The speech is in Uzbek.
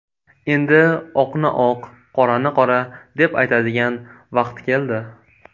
Endi oqni oq, qorani qora deb aytadigan vaqt keldi.